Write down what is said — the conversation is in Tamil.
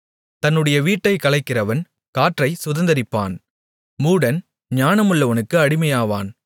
தன்னுடைய வீட்டைக் கலைக்கிறவன் காற்றைச் சுதந்தரிப்பான் மூடன் ஞானமுள்ளவனுக்கு அடிமையாவான்